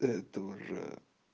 это уже